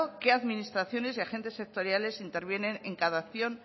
qué administraciones y agentes sectoriales intervienen en cada acción